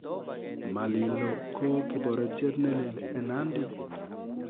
Malilo ko kiporetiet ne lel eng nandi